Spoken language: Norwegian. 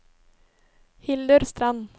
Hildur Strand